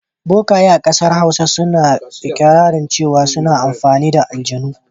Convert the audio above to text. Bokaye a ƙasar Hausa suna iƙirarin cewa suna amfani da aljanu.